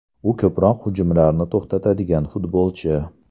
U ko‘proq hujumlarni to‘xtatadigan futbolchi.